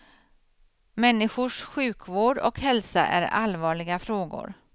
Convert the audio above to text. Människors sjukvård och hälsa är allvarliga frågor.